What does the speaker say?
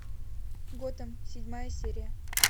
готэм седьмая серия